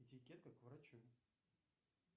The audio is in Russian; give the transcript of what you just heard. этикетка к врачу